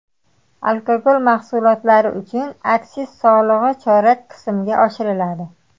Alkogol mahsulotlari uchun aksiz solig‘i chorak qismga oshiriladi.